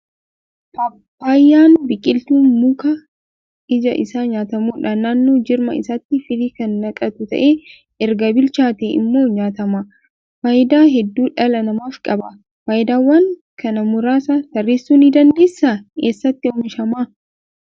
Paappaayyaan biqiltuu mukaa iji isaa nyaatamudha. Naannoo jirma isaatti firii kan naqatuu ta'ee, erga bilchaatee immoo nyaatama. Faayidaa hedduu dhala namaaf qaba. Faayidaawwan kana muraasa tarreessuu ni dandeessaa? Eessatti oomishama?